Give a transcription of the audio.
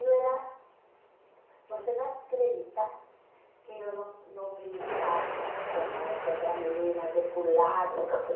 Eu era... Você vai acreditar que eu não não brincava como as outras meninas, de pular, nunca foi.